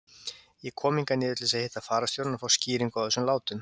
Ég kom hingað niður til þess að hitta fararstjórann og fá skýringu á þessum látum.